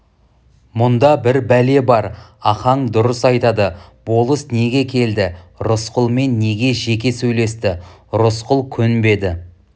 мұнда бір бәле бар ахаң дұрыс айтады болыс неге келді рысқұлмен неге жеке сөйлесті рысқұл көнбеді